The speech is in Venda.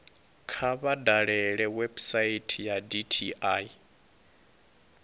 kha vha dalele website ya dti